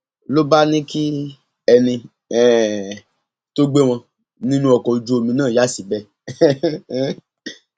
ló bá ní kí ẹni um tó gbé wọn nínú ọkọ ojúomi náà yà síbẹ um